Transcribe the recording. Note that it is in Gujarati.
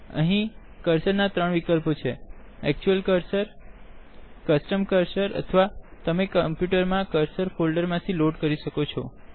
અહી કર્સર ના ત્રણ વિકલ્પો છેactual cursorકસ્ટમ cursorઅથવા તમે કમ્પુટર મા કર્સર ફોલ્ડર માંથી લોડ કરી શકો છો